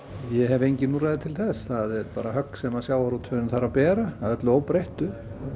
ég hef engin úrræði til þess það er högg sem sjávarútvegurinn þarf að bera að öllu óbreyttu